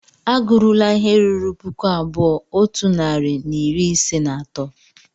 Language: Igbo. A gụrula ihe ruru puku abụọ otu narị na iri ise na atọ!